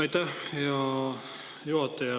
Aitäh, hea juhataja!